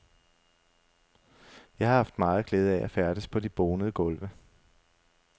Jeg har haft meget glæde af at færdes på de bonede gulve.